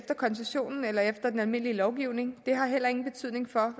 koncessionen eller efter den almindelige lovgivning har heller ingen betydning for